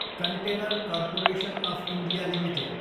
container corporation of India Ltd